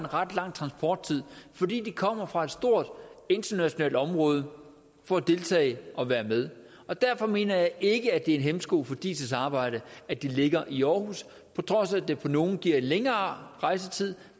ret lang transporttid fordi de kommer fra et stort internationalt område for at deltage og være med derfor mener jeg ikke at det er en hæmsko for diis arbejde at det ligger i aarhus på trods af at det for nogle giver en længere rejsetid